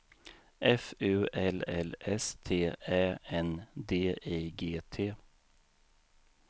F U L L S T Ä N D I G T